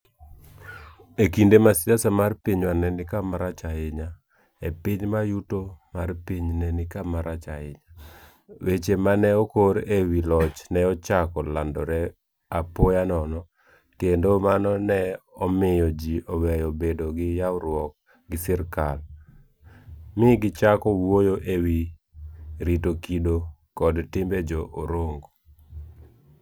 E kinde ma siasa mar pinywa ne ni kama rach ahinya, e piny ma yuto mar piny ne ni kama rach ahinya, weche ma ne okor e wi loch ne ochako landore apoya nono, kendo mano ne omiyo ji oweyo bedo gi ywaruok gi sirkal, mi gichako wuoyo e wi ' rito kido kod timbe Jo - Orongo. '